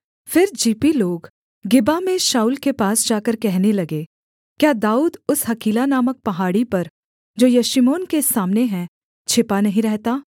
फिर जीपी लोग गिबा में शाऊल के पास जाकर कहने लगे क्या दाऊद उस हकीला नामक पहाड़ी पर जो यशीमोन के सामने है छिपा नहीं रहता